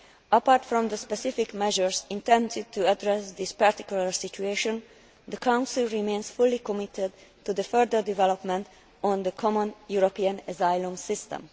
Apart from the specific measures intended to address this particular situation, the Council remains fully committed to the further development of the common European asylum system.